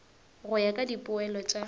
go ya ka dipoelo tša